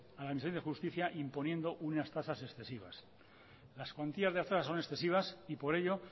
a la administración de justicia imponiendo unas tasas excesivas las cuantías de las tasas son excesivas y por ello